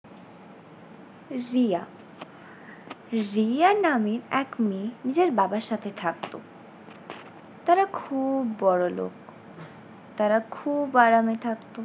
রিয়া, রিয়া নামে এক মেয়ে নিজের বাবার সাথে থাকতো। তারা খুউব বড়লোক তারা খুব আরামে থাকতো।